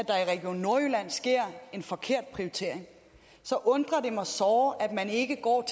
region nordjylland sker en forkert prioritering så undrer det mig såre at man ikke går